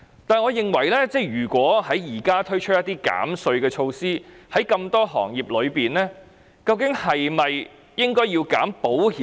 可是，我認為如果在現時推出一些減稅措施，在這麼多行業中，究竟應否減免保險業？